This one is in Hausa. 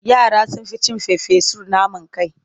Yara sun ƙi cin farfesun naman kai.